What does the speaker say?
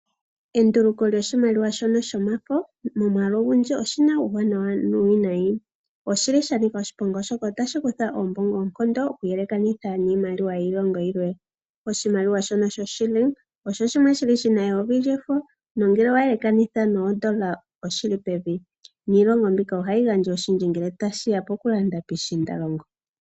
Enduluko lyoshimaliwa shono shomafo momwaalu ogundji oshi na uuwanawa nuuwinayi. Oshi li sha nika oshiponga oshoka otashi kutha oombongo oonkondo oku yelekanitha niimaliwa yiilongo yilwe. Oshimaliwa shono shoShiling osho shimwe shi li shi na eyovi lyefo nongele owa yelekanitha noondola oshi li pevi, niilongo mbika ohayi gandja oshindji ngele ta shi ya po ku landa piishiindalongo.